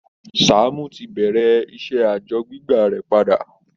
Sàámú ti bẹ̀rẹ̀ iṣẹ́ àjọ gbígbà rẹ̀ padà